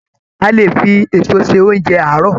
A lè fi èso se oúnjẹ àárọ̀.